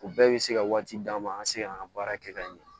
U bɛɛ bɛ se ka waati d'an ma an ka se ka an ka baara kɛ ka ɲɛ